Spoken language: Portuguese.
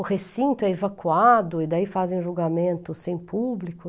O recinto é evacuado e daí fazem o julgamento sem público.